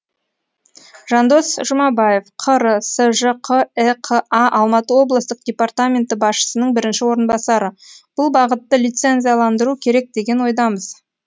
жандос жұмабаев қр сжқіқа алматы облыстық департаменті басшысының бірінші орынбасары бұл бағытты лицензияландыру керек деген ойдамыз